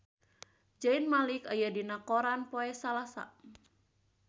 Zayn Malik aya dina koran poe Salasa